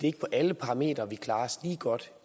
er på alle parametre at vi klarer os lige godt